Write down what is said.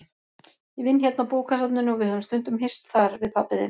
Ég vinn hérna á bókasafninu og við höfum stundum hist þar, við pabbi þinn.